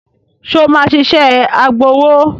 Ṣé o máa ṣiṣẹ́ agbowó?